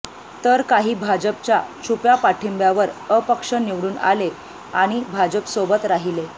तर काही भाजपच्या छुप्या पाठिंब्यावर अपक्ष निवडून आले आणि भाजपसोबत राहिले